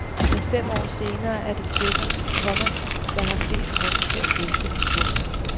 Men fem år senere er det tjekkerne, komma der har flest grunde til at feste. punktum